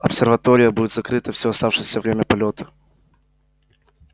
обсерватория будет закрыта всё оставшееся время полёта